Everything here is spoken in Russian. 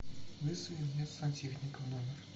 вызови мне сантехника в номер